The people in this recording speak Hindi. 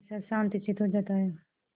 कैसा शांतचित्त हो जाता है